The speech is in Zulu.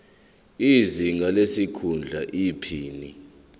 izinga lesikhundla iphini